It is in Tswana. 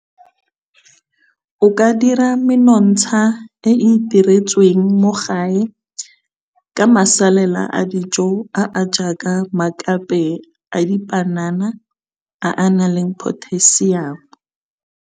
O ka dira menontsha e e iteretsweng mo gae ka masalela a dijo a a jaaka maakape a dipanana a a nang le potassium.